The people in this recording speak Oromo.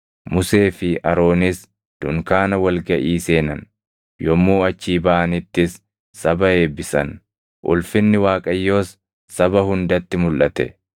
Musee fi Aroonis dunkaana wal gaʼii seenan; yommuu achii baʼanittis saba eebbisan; ulfinni Waaqayyoos saba hundatti mulʼate.